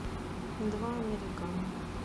два американо